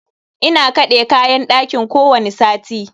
Ina kaɗe kayan ɗakin kowani sati.